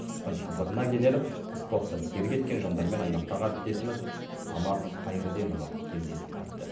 қыстың қызығына кенеліп спортты серік еткен жандармен аймақтағы әріптесіміз самат қайырденұлы кездесіп қайтты